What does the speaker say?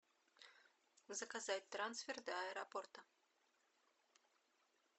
заказать трансфер до аэропорта